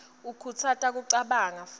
ikhutsata kucabanga futsi